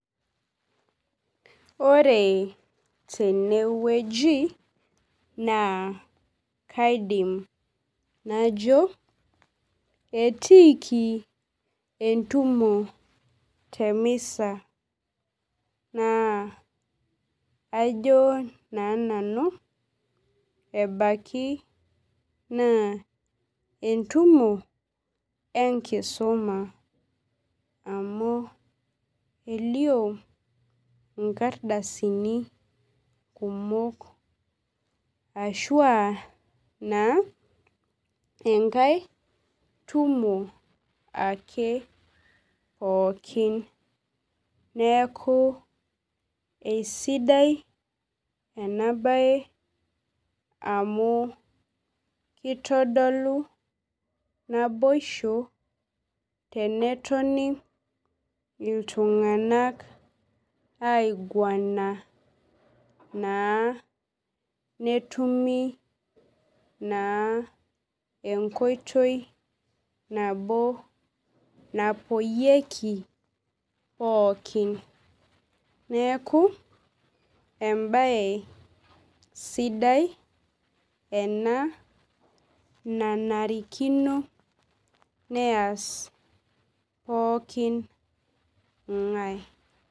Ore tenewueji na kaidim najo etiiki entumo temisa na ajo na nanu ebaki na entumo enkisuma amu elio nkardasini kumok ashu aa na enkae tumo ake pooki neaku esidai enabae amu kitodolu naboisho tenetoni ltunganak aiguana na netumi na enkoitoi nabo napoyieki pooki neaku embae sidai ena nanarikino neas pooki ngae.